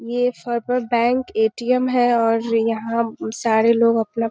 ये bank ATM. है और यहाँ सारे लोग अपना --